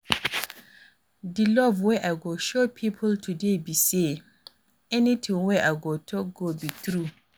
Di love wey I go show people today be say, anything wey I go talk go be true.